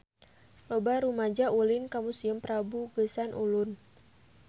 Loba rumaja ulin ka Museum Prabu Geusan Ulun